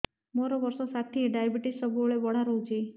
ମୋର ବର୍ଷ ଷାଠିଏ ଡାଏବେଟିସ ସବୁବେଳ ବଢ଼ା ରହୁଛି